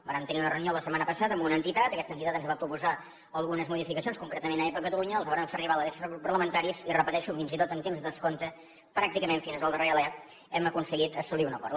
vàrem tenir una reunió la setmana passada amb una entitat aquesta entitat ens va proposar algunes modificacions concretament aepa catalunya les vàrem fer arribar a l’adreça dels grups parlamentaris i ho repeteixo fins i tot en temps de descompte pràcticament fins al darrer alè hem aconseguit assolir un acord